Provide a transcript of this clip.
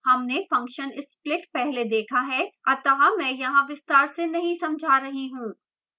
हमने function split पहले देखा है अतः मैं यहाँ विस्तार से नहीं समझा रही हूँ